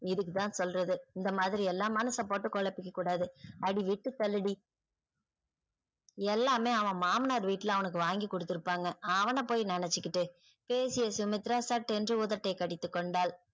இதுக்கு தான் சொல்லுறது இந்த மாதிரியெல்லாம் மனச போட்டு கொழப்பிக்க கூடாது. அடி விட்டு தள்ளுடி எல்லாமே அவன் மாமனார் வீட்ல அவனுக்கு வாங்கி குடுத்துருபாங்க அவன போய் நெனச்சிகிட்டு பேசிய சுமித்ரா சட்டென்று உதட்டை கடித்து கொண்டாள்.